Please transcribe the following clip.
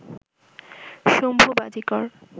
Shambhu Bajikar